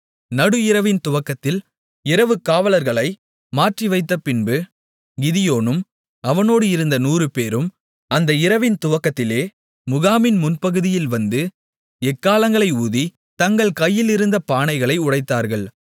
நடுஇரவின் துவக்கத்தில் இரவுக்காவலர்களை மாற்றிவைத்தபின்பு கிதியோனும் அவனோடு இருந்த 100 பேரும் அந்த இரவின் துவக்கத்திலே முகாமின் முன்பகுதியில் வந்து எக்காளங்களை ஊதி தங்கள் கையிலிருந்த பானைகளை உடைத்தார்கள்